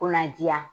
Ko na diya